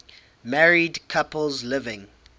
married couples living